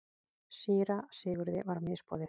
Síra Sigurði var misboðið.